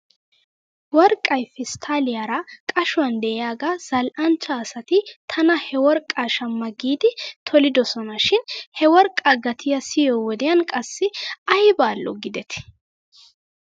Worqaay pestaaliyaara qashuwan de'iyaagaa zal'anchcha asati tana he worqqaa shma giidi tolidosona shin he worqaa gatiyaa siyiyoo wodiyan qassi ayba al'o giidetii.